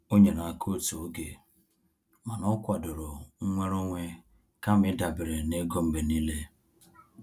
O nyere aka otu oge mana o kwadoro nnwere onwe kama ịdabere na ego mgbe niile.